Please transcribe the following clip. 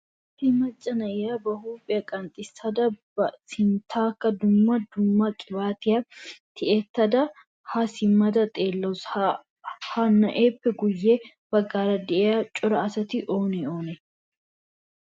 issi macca na'iya ba huphiya qanxxisada ba sinttankka duma dumma qibaatiya tiyyetada ha simmada xeellawus. ha na'eppe guyye baggan de'iyaa cora asati oone oonee?